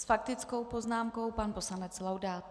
S faktickou poznámkou pan poslanec Laudát.